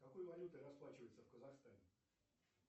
какой валютой расплачиваются в казахстане